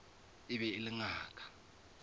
e be e le ngaka